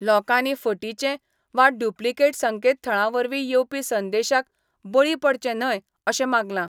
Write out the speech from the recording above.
लोकांनी फटीचे वा डुप्लीकेट संकेत थळा वरवीं येवपी संदेशाक बळी पडचें न्हय अशें मागलां.